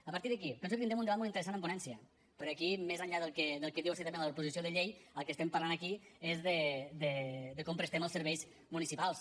a partir d’aquí penso que tindrem un debat molt interessant en ponència perquè aquí més enllà del que diu estrictament la proposició de llei del que estem parlant aquí és de com prestem els serveis municipals